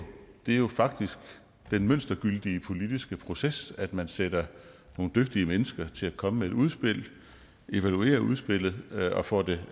jo faktisk den mønstergyldige politiske proces at man sætter nogle dygtige mennesker til at komme med et udspil evaluerer udspillet og får det